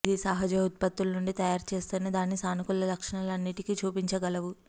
ఇది సహజ ఉత్పత్తులు నుండి తయారు చేస్తేనే దాని సానుకూల లక్షణాలు అన్నింటికీ చూపించగలవు